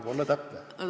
Tuleb olla täpne!